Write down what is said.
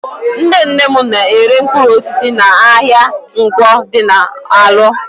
Nnenne m na-ere mpkụrụosisi n'ahịa Nkwọ dị n'Alọ.